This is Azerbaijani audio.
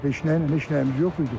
Heç nəylə, heç nəyimiz yox idi ki.